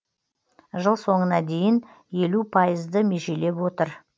жыл соңына дейін елу пайызды межелеп отыр